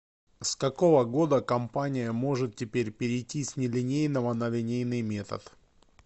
с какого года компания может теперь перейти с нелинейного на линейный метод